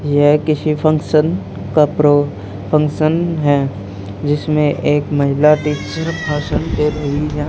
यह किसी फंक्शन का प्रो फंक्शन है जिसमें एक महिला टीचर भाषण दे रही है।